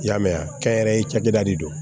I y'a mɛn kɛnyɛrɛye cakɛda de don